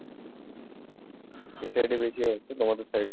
এই side এ বেশি হয়েছে? তোমাদের side এ?